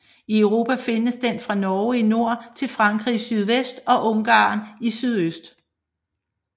I Europa findes den fra Norge i nord til Frankrig i sydvest og Ungarn i sydøst